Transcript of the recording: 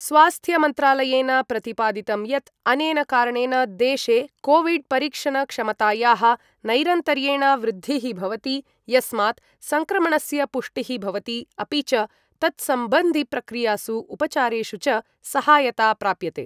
स्वास्थ्यमन्त्रालयेन प्रतिपादितं यत् अनेन कारणेन देशे कोविड्परीक्षणक्षमतायाः नैरन्तर्येण वृद्धिः भवति, यस्मात् सङ्क्रमणस्य पुष्टिः भवति, अपि च तत्सम्बन्धिप्रक्रियासु उपचारेषु च सहायता प्राप्यते।